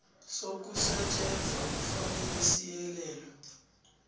sokusetjenzwa kufanele siyelelwe